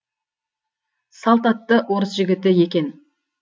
салт атты орыс жігіті екен